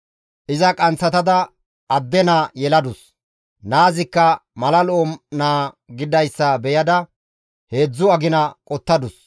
iza qanththatada adde naa yeladus. Naazikka mala lo7o naa gididayssa beyada heedzdzu agina qottadus.